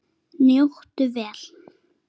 Njóttu vel.